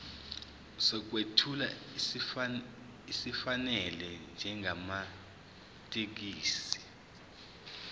sokwethula esifanele njengamathekisthi